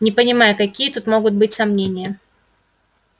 не понимаю какие тут могут быть сомнения